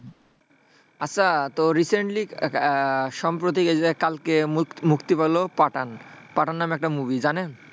আচ্ছা তো recently আহ সম্প্রতি এই যে কালকে মুক মুক্তি পেল পাঠান। পাঠান নামে একটা movie জানেন?